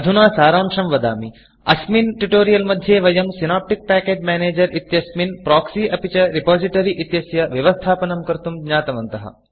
अधुना सारांशं वदामि अस्मिन् Tutorialट्युतोरियल् मध्ये वयं Synaptic package manager Synaptic package manager इत्यस्मिन् Proxyप्रोक्सि अपि च Repositoryरिपोसिटरि इत्यस्य व्यवस्थापनं कर्तुं ज्ञातवन्तः